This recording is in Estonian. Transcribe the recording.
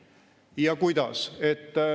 Ja kuidas?